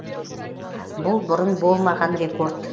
бұл бұрын болмаған рекорд